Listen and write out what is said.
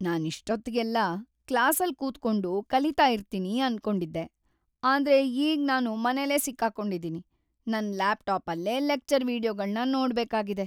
ನಾನಿಷ್ಟೊತ್ತಿಗೆಲ್ಲ ಕ್ಲಾಸಲ್‌ ಕೂತ್ಕೊಂಡು ಕಲೀತಾ ಇರ್ತೀನಿ ಅನ್ಕೊಂಡಿದ್ದೆ.. ಆದ್ರೆ ಈಗ್ ನಾನು ಮನೆಲೇ ಸಿಕ್ಕಾಕೊಂಡಿದೀನಿ, ನನ್ ಲ್ಯಾಪ್‌ಟಾಪಲ್ಲೇ ಲೆಕ್ಚರ್ ವೀಡಿಯೊಗಳ್ನ ನೋಡ್ಬೇಕಾಗಿದೆ.